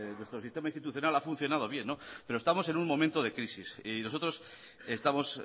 nuestro sistema institucional ha funcionado bien pero estamos en un momento de crisis y nosotros estamos